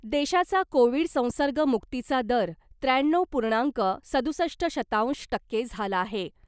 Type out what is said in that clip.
देशाचा कोविड संसर्ग मुक्तीचा दर त्र्याण्णव पूर्णांक सदुसष्ट शतांश टक्के झाला आहे .